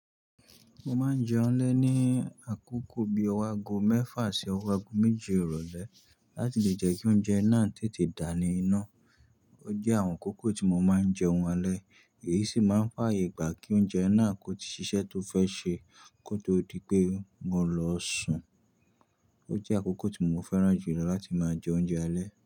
Mo máa ń jẹun lé ní àkókò bí i ọwọ́ ago mẹ́fà sí ọwọ́ ago méje ìrọ̀lẹ́ láti lè jẹ́ kí oúnjẹ náà tètè dà ní inú. Ó jẹ́ àwọn àkókò tí mo máa ń jẹun alẹ́, èyí sì máa ń fààyè gbà kí oúnjẹ náà kó tí ṣiṣẹ́ tó fẹ́ ṣe kó tó di pé mo lọ sùn. Ó jẹ́ àkókò tí mo fẹ́ràn jùlọ láti máa jẹ oúnjẹ alẹ́.